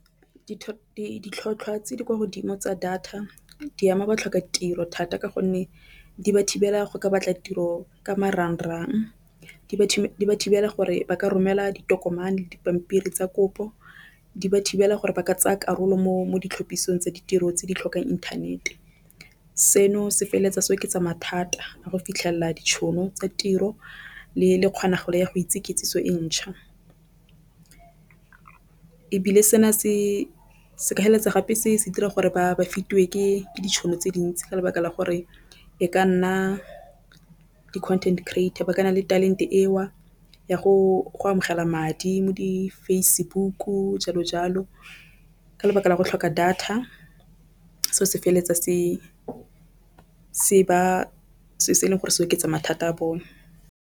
Ditlhotlhwa tse di kwa godimo tsa data di ama ba tlhoka tiro thata, ka gonne di ba thibela go ka batla tiro ka marang-rang di ba thibela gore ba ka romela ditokomane dipampiri tsa kopo di ba thibela gore ba ka tsaya karolo mo ditlhophisong tsa ditiro tse di tlhokang inthanete. Seno se feleletsa se oketsa mathata a go fitlhelela ditšhono tsa tiro le le kgonagalo ya go itse ikitsiso e ntšha. Ebile se na se se ka heleletsa gape se se dira gore ba ba fiwe ke ditšhono tse dintsi ka lebaka la gore e ka nna di content creator ba ke na le talent e o ya go amogela madi mo di-Facebook-u jalo jalo. Ka lebaka la go tlhoka data seo se feleletsa se se ba se e leng gore se oketsa mathata a bone.